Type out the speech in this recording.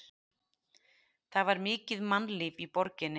Það var mikið mannlíf í borginni.